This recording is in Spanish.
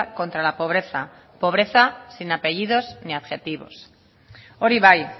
contra la pobreza pobreza sin apellidos ni adjetivos hori bai